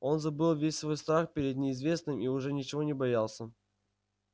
он забыл весь свой страх перед неизвестным и уже ничего не боялся